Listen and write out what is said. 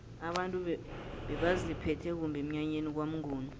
abantu bebaziphethe kumbi emnyanyeni kwamnguni